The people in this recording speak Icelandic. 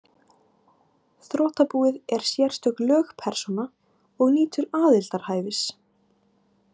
Þrotabúið er sérstök lögpersóna og nýtur aðildarhæfis.